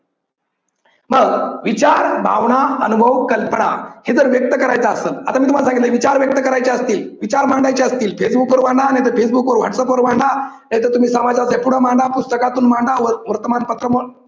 मग विचार, भावना, अनुभव, कल्पना हे जर व्यक्त करायचं असल आता मी तुम्हाला सांगितलंय विचार व्यक्त करायचे असतील, विचार मांडायचे असतील फेसबुकवर मांडा नायतर फेसबुकवर व्हाट्सअप वर मांडा नाहीतर तुम्ही समाजातील मांडा पुस्तकातून मांडा वर्तमानपत्रा